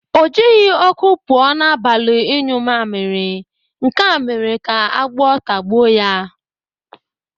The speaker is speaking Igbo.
O jighị ọkụ pụọ n'abalị ịnyụ mamịrị, nke a mere ka agwọ tagbuo ya.